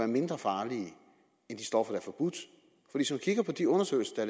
mindre farlige end de stoffer der er forbudt hvis man kigger på de undersøgelser